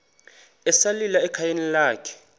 esalika ekhayeni lakhe